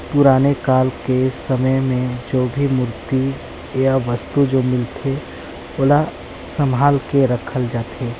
पुराने काल के समय में जो भी मूर्ति या जो वस्तु जो मिलथे ओला संभाल के रखल जाथे।